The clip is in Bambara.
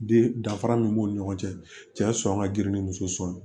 Den danfara min b'u ni ɲɔgɔn cɛ cɛ sɔn ka girin ni muso sɔn